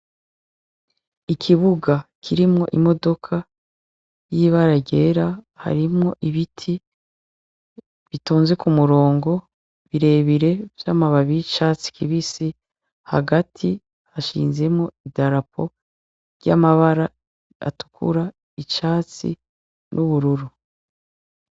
Ikibuga kirimwo imodoka y'ibara ryera, harimwo ibiti bitonze k'umurongo birebire vy'amabibi y'icatsi kibisi, hagati hashinzemwo idarapo ry'amabara atukura, icatsi, n'ubururu.